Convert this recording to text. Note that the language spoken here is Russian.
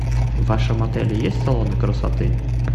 в вашем отеле есть салоны красоты